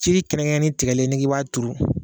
Ci kɛrɛnkɛrɛnnen tigali n'i k'i b'a turu